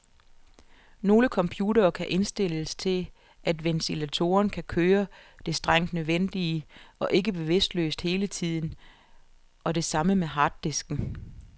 Nogle computere kan indstilles til at ventilatoren kun kører det strengt nødvendige, og ikke bevidstløst hele tiden, og det samme med harddisken.